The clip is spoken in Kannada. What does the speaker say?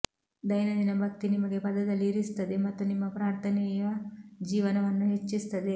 ದೈನಂದಿನ ಭಕ್ತಿ ನಿಮಗೆ ಪದದಲ್ಲಿ ಇರಿಸುತ್ತದೆ ಮತ್ತು ನಿಮ್ಮ ಪ್ರಾರ್ಥನೆಯ ಜೀವನವನ್ನು ಹೆಚ್ಚಿಸುತ್ತದೆ